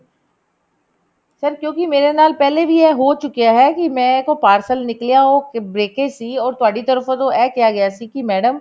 sir ਕਿਉਂਕਿ ਐ ਮੇਰੇ ਨਾਲ ਪਹਿਲੇ ਵੀ ਹੋ ਚੁੱਕਿਆ ਕਿ ਮੇਰੇ ਕੋਲ parcel ਨਿਕਲਿਆ ਉਹ breakage ਸੀ ਉਹ ਤੁਹਾਡੀ ਤਰਫ਼ ਤੋਂ ਐ ਕਿਹਾ ਗਿਆ ਸੀ ਕਿ madam